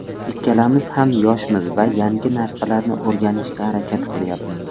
Ikkalamiz ham yoshmiz va yangi narsalarni o‘rganishga harakat qilyapmiz.